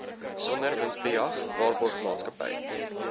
sonder winsbejag waarborgmaatskappy